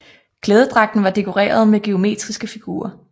Klædedragten var dekoreret med geometriske figurer